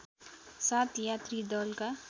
सात यात्री दलका